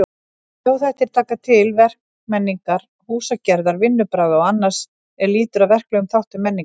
Þjóðhættir taka til verkmenningar, húsagerðar, vinnubragða og annars er lýtur að verklegum þáttum menningar.